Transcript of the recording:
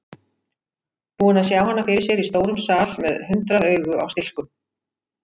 Búinn að sjá hana fyrir sér í stórum sal með hundrað augu á stilkum.